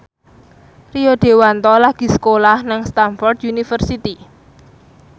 Rio Dewanto lagi sekolah nang Stamford University